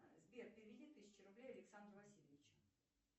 сбер переведи тысячу рублей александру васильевичу